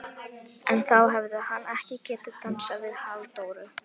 En þá hefði hann ekki getað dansað við Halldóru